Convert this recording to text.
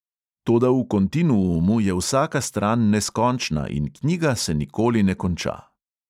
"Toda v kontinuumu je vsaka stran neskončna in knjiga se nikoli ne konča."